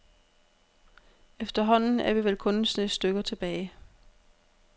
Efterhånden er vi vel kun en snes stykker tilbage.